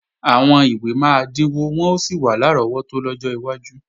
Àwọn ìwé máa dínwó wọ́n ó sì wà lárọ́wọ́tó lọ́jọ́ iwájú